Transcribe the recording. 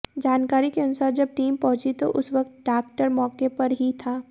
जानकारी के अनुसार जब टीम पंहुची तो उस वक्त डाक्टर मौके पर ही था